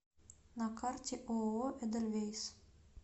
на карте ооо эдельвейс